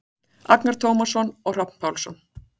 Agnar Tómasson og Hrafn Pálsson.